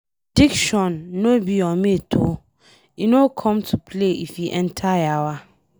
Addiction no be your mate o, e no come to play if e enter yawa.